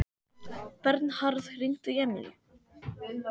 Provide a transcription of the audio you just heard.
Bernharð, hringdu í Emilíu.